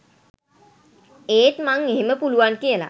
ඒත් මං එහෙම පුළුවන් කියලා